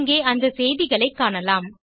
இங்கே அந்த செய்திகளைக் காணலாம்